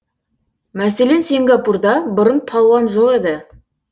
мәселен сингапурда бұрын палуан жоқ еді